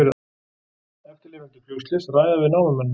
Eftirlifendur flugslyss ræða við námumennina